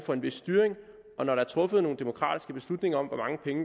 for en vis styring når der er truffet nogle demokratiske beslutninger om